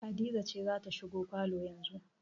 Hadiza ce za ta shigo falo yanzu